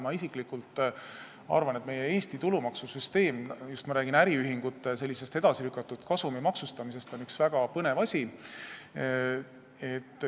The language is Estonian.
Mina isiklikult arvan, et meie Eesti tulumaksusüsteem – ma räägin just äriühingute kasumi edasilükatud maksustamisest – on üks väga põnev asi.